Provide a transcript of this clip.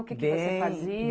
O que que você fazia? Bem